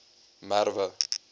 merwe